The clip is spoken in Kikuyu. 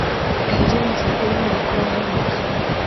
Eheria mũbango-inĩ wakwa wa gwĩka .